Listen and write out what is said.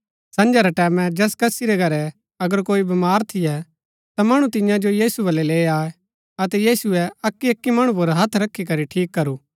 संझा रै टैमैं जैस कसी रै घरै अगर कोई बमार थियै ता मणु तियां जो यीशु बलै लैई आये अतै यीशुऐ अक्की अक्की मणु पुर हथ रखी करी ठीक करू